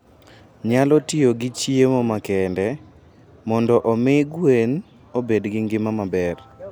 nyalo tiyo gi chiemo makende mondo omi gwen obed gi ngima maber.